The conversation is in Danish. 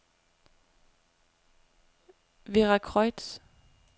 Veracruz